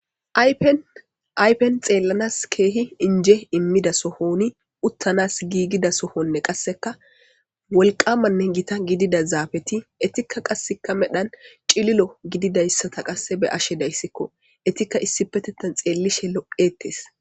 Ayfen xeellanas keehi inje immida sohoni uttanas giigida sohonne qasseka wolqamanne gita gidida zaafeti etikka qasseka medhan cililo gididayssata qasse be ashe dayssikko etikka issipetettan xeellishe loqettes.